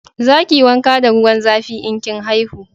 Za ki yi wanka da ruwan zafi in kin haihu